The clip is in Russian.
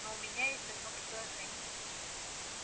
но у меня есть одно предложение